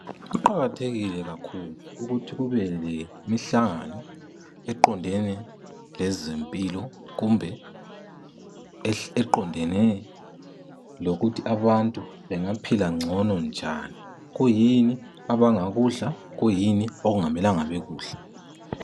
Kuqakathekile kakhulu ukuthi kube lemihlangano eqondene lezempilo kumbe eqondene lokuthi abantu bengaphila ngcono njani kuyini abangakudla, kuyini okungamelanga bekudle.